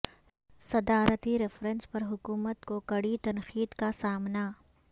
صدارتی ریفرنس پر حکومت کو کڑی تنقید کا سامنا